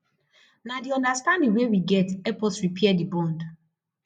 na di understanding wey we get help us repair di bond